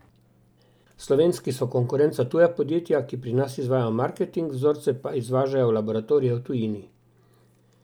Slovenski so konkurenca tuja podjetja, ki pri nas izvajajo marketing, vzorce pa izvažajo v laboratorije v tujini.